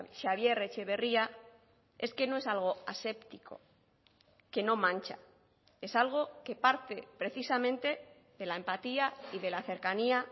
xabier etxeberria es que no es algo aséptico que no mancha es algo que parte precisamente de la empatía y de la cercanía